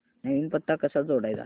नवीन पत्ता कसा जोडायचा